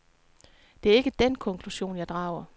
Det er ikke den konklusion, jeg drager.